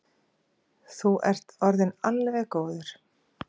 Þú ert orðinn alveg góður.